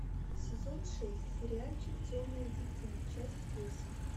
сезон шесть сериальчик темное дитя часть восемь